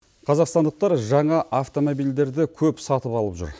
қазақстандықтар жаңа автомобильдерді көп сатып алып жүр